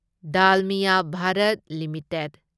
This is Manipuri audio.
ꯗꯥꯜꯃꯤꯌꯥ ꯚꯥꯔꯠ ꯂꯤꯃꯤꯇꯦꯗ